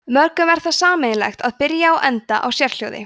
mörgum er það sameiginlegt að byrja og enda á sérhljóði